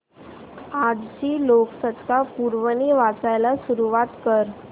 आजची लोकसत्ता पुरवणी वाचायला सुरुवात कर